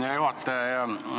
Hea juhataja!